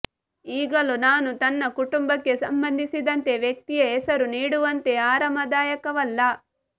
ಈಗಲೂ ನಾನು ತನ್ನ ಕುಟುಂಬಕ್ಕೆ ಸಂಬಂಧಿಸಿದಂತೆ ವ್ಯಕ್ತಿಯ ಹೆಸರು ನೀಡುವಂತೆ ಆರಾಮದಾಯಕವಲ್ಲ